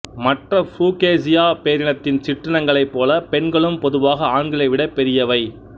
மற்ற புரூக்கேசியா பேரினத்தின் சிற்றினங்களைப் போல பெண்களும் பொதுவாக ஆண்களை விட பெரியவை